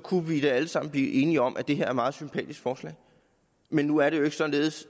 kunne vi da alle sammen blive enige om at det her er et meget sympatisk forslag men nu er det jo ikke således